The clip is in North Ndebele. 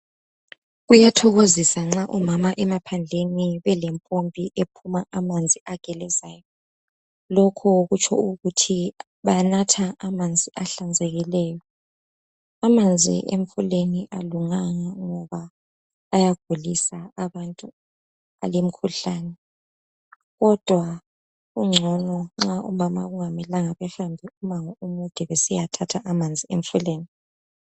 Kuyathokozisa nxa omama emaphandleni belempompi ephuma amanzi agelezayo lokho kutsho ukuthi banatha amanzi ahlanzekileyo amanzi emfuleni awalunganga ngoba ayagulisa abantu alemkhuhlane kodwa kungcono nxa omama kungamelanga behambe umango omude besiya thatha amanzi emfuleni.